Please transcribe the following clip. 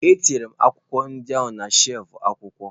Etinyere m akwụkwọ ndị ahụ na shelfụ akwụkwọ.